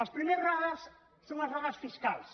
els primers radars són els radars fiscals